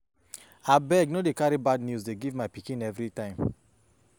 Abeg no dey carry bad news dey give my pikin everytime